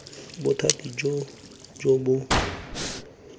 bothati joo jo bo maleba